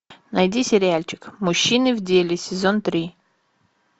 найди сериальчик мужчины в деле сезон три